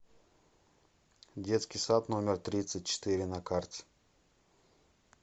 детский сад номер тридцать четыре на карте